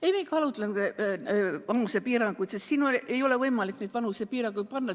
Ei, me ei kaalutlenud vanusepiire, sest siin ei ole võimalik vanusepiiri panna.